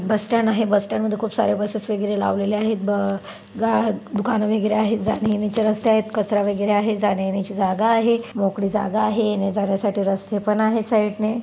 बस stand आहे bus stand मध्ये खूप सारे बसेस वगैरे लावलेले आहेत ब गा दुकाने वगैरे आहेत जाण्यायेण्याची रस्ते आहेत कचरा वगैरे आहे जाण्यायेण्याची जागा आहे मोकळी जागा आहे येण्याजाण्यासाठी रस्ते पण आहेत साईड ने.